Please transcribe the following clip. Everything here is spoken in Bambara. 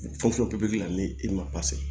Fɛn fɔlɔ pipikiri la ni i ma